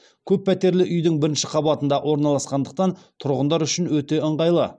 көп пәтерлі үйдің бірінші қабатында орналасқандықтан тұрғындар үшін өте ыңғайлы